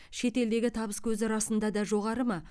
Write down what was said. шет елдегі табыскөзі расында да жоғары ма